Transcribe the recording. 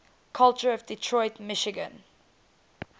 culture of detroit michigan